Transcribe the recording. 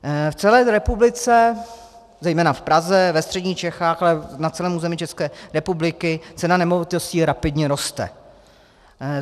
V celé republice, zejména v Praze, ve středních Čechách, ale na celém území České republiky cena nemovitostí rapidně roste.